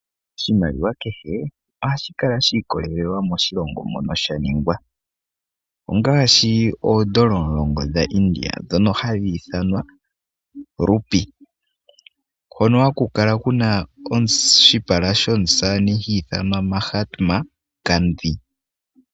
Oshimaliwa kehe ohashi kala shi ikolelelwa mono sha ningwa, ongaashi oondola omulongo dha India dhono hadhi ithanwa 'Rupee'. Hono haku kala kuna oshipala shomusamane ha ithanwa Muhammad Gandhi.